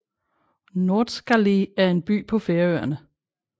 Norðskáli er en by på Færøerne